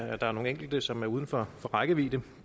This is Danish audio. at der er nogle enkelte som er uden for rækkevidde